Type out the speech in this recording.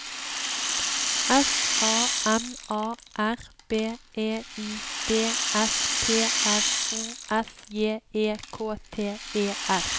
S A M A R B E I D S P R O S J E K T E R